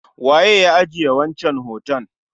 Waye ya ajiye wancan hoton?